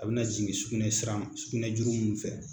A bɛna jigin sucunɛ sira ma. sugunɛ juru minnu fɛ,